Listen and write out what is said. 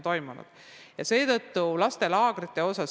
Nüüd lastelaagritest.